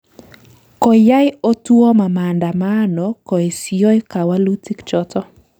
Koyai Otuoma maandamano koesyoi kawalutik choto